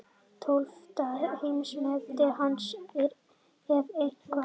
Tólfta heimsmetið hans eða eitthvað.